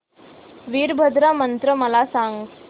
वीरभद्रा मंदिर मला सांग